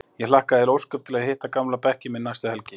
Ég hlakkaði heil ósköp til að hitta gamla bekkinn minn næstu helgi.